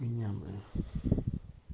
пьяная